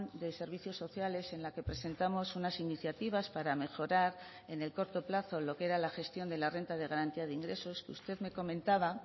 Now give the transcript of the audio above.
de servicios sociales en la que presentamos unas iniciativas para mejorar en el corto plazo lo que era la gestión de la renta de garantía de ingresos que usted me comentaba